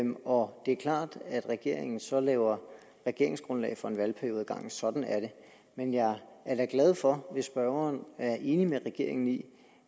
og det er klart at regeringen så laver regeringsgrundlag for en valgperiode ad gangen sådan er det men jeg er da glad for hvis spørgeren er enig med regeringen i